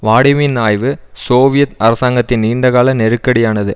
வாடிமின் ஆய்வு சோவியத் அரசாங்கத்தின் நீண்டகால நெருக்கடியானது